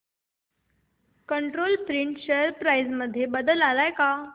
control print share price मध्ये बदल आलाय का